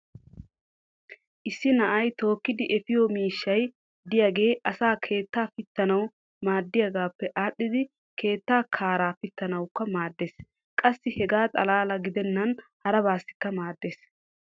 issi na"ay tookkidi eppiyo miishshay diyaage asay keettaa pitanawu maaddiyoogaappe aadhdhidi keettaa kaaraa pittanawukka maaddees. qassi hegaa xalaala gidennan harabaassikka maadees.